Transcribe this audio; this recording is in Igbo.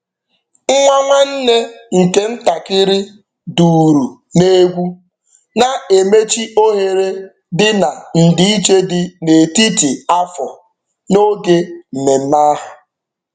Nwa nwanne nke ntakịrị duru n'egwu, na-emechi ohere dị na ndịiche dị n'etiti afọ n'oge mmemme ahụ.